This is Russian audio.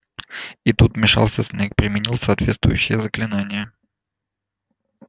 и тут вмешался снегг применил соответствующее заклинание